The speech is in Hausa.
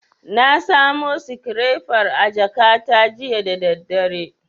Na samo sikirefar a jakata jiya da daddare.